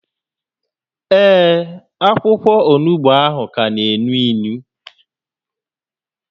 Ee, akwụkwọ onugbu a ka na-énú ínú